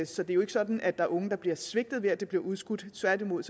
så det er jo ikke sådan at der er unge der bliver svigtet ved at det bliver udskudt tværtimod